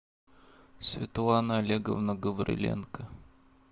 светлана олеговна гавриленко